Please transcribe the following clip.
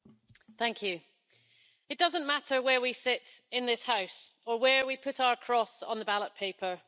Mr President, it doesn't matter where we sit in this House or where we put our cross on the ballot paper.